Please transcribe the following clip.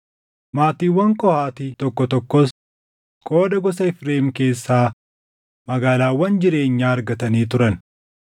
Maatiiwwan Qohaati tokko tokkos qooda gosa Efreem keessaa magaalaawwan jireenyaa argatanii turan.